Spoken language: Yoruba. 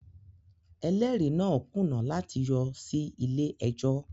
Ẹlẹ́rìí náà kùnà láti yọ sí ilé ẹjọ́